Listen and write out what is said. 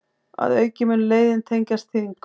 Að auki mun leiðin tengjast Þingum